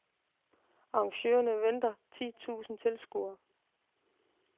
Arrangørerne venter kun ti tusind tilskuere.